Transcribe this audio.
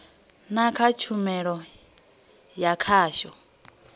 na kha tshumelo ya khasho